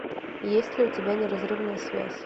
есть ли у тебя неразрывная связь